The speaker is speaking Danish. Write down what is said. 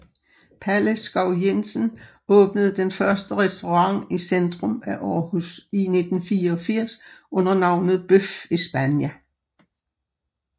Palle Skov Jensen åbnede den første restaurant i centrum af Aarhus i 1984 under navnet Bøf España